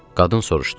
Qadın soruşdu: